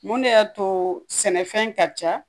Mun de y'a to sɛnɛfɛn ka ca